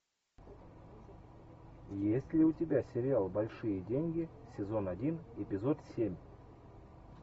есть ли у тебя сериал большие деньги сезон один эпизод семь